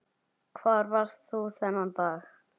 Hvar varst þú þennan dag?